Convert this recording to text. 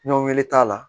Ɲɔn gɛlɛn t'a la